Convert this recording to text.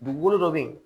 Dugukolo dɔ bɛ yen